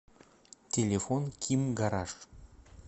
телефон ким гараж